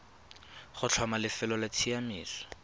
go tlhoma lefelo la tsamaiso